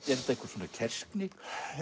þetta einhver svona kerskni